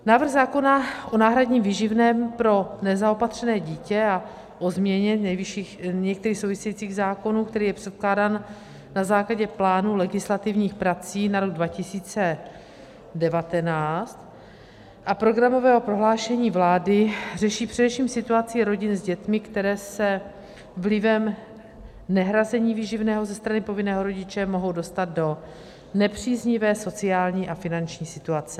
Návrh zákona o náhradním výživném pro nezaopatřené dítě a o změně některých souvisejících zákonů, který je předkládán na základě plánu legislativních prací na rok 2019 a programového prohlášení vlády, řeší především situaci rodin s dětmi, které se vlivem nehrazení výživného ze strany povinného rodiče mohou dostat do nepříznivé sociální a finanční situace.